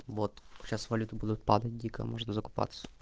вот сейчас валюты будут падать дико можно закупаться